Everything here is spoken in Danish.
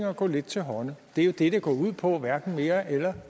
og gå lidt til hånde det er jo det det går ud på hverken mere eller